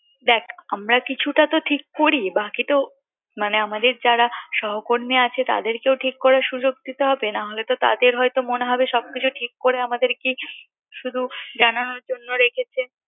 দেখ আমরা কিছুটা তো ঠিক করি বাকিতো মানে আমাদের যারা সহকর্মী আছে তাদেরকেও ঠিক করার সুযোগ দিতে হবে নাহলে হয়ত তাদের হয়তো মনে হবে সবকিছু ঠিক করে আমাদেরকে শুধু জানানোর জন্য রেখেছে